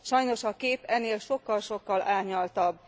Sajnos a kép ennél sokkal sokkal árnyaltabb.